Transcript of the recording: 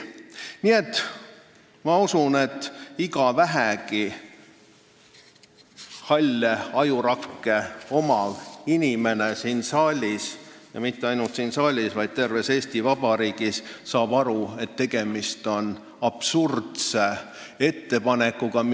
Nii et ma usun, et iga vähegi halle ajurakke omav inimene siin saalis – ja mitte ainult siin saalis, vaid terves Eesti Vabariigis – saab aru, et tegemist on absurdse ettepanekuga.